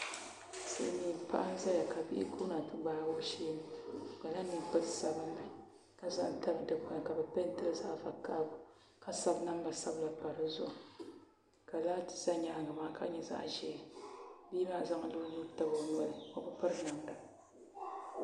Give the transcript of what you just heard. Silmiin paɣa n ʒɛya ka Bihi guuna ti gbaagi o sheeni o kpala ninkpari sabinli ka ʒɛ n tabi dikpuni ka bi peentili zaɣ vakaɣali ka sabi namba sabila pa dizuɣu ka laati sa nyaangi kaa ka nyɛ zaɣ ʒiɛ bia maa zaŋla o nuu tabi o noli o bi piri namda